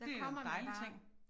Der kommer man bare